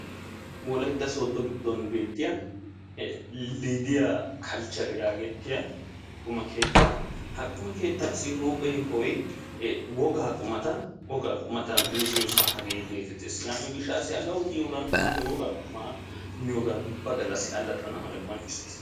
wolaytta soodon giddon beetiya liidiya kalchere yaagettiya qumma keettaa ha quma keeettassi huphe yohoy wogaa qumata, wogaa qummata mizziyoosaa hagee geetettees. yaaniyo gishaassi hegawu biyoogan inte wogaa qumata miyoogan ubba galassi alaxxana mala qonccissays.